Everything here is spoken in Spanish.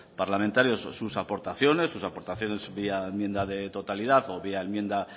parlamentarios sus aportaciones sus aportaciones vía enmienda de totalidad o vía enmienda